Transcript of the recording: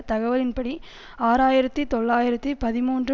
தகவல்களின்படி ஆறு ஆயிரத்தி தொள்ளாயிரத்தி பதிமூன்று